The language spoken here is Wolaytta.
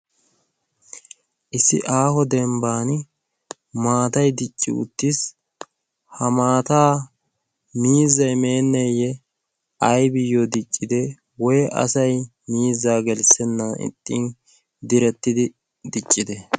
issi aaho dembban maatai dicci uttiis. ha maataa miizai meenneeyye aibiyyo diccide woi asai miizzaa gelssennan ixxin direttidi diccide?